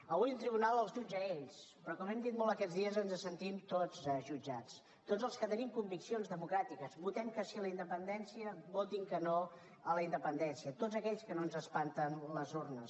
avui un tribunal els jutja a ells però com ho hem dit molt aquests dies ens sentim tots jutjats tots els que tenim conviccions democràtiques votem que sí a la independència votin que no a la independència tots aquells que no ens espanten les urnes